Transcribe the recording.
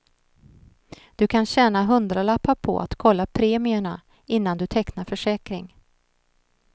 Du kan tjäna hundralappar på att kolla premierna innan du tecknar försäkring.